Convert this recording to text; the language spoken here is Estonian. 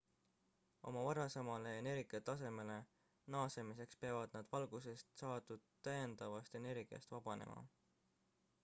oma varasemale energiatasemele naasmiseks peavad nad valgusest saadud täiendavast energiast vabanema